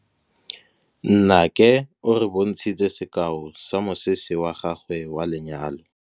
Nnake o re bontshitse sekaô sa mosese wa gagwe wa lenyalo.